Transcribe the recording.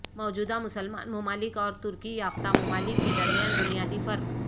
موجودہ مسلمان ممالک اورترقی یافتہ ممالک کے درمیان بنیادی فرق